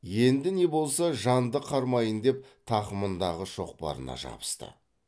енді не де болса жанды қармайын деп тақымындағы шоқпарына жабысты